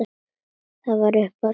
Þetta vatt upp á sig.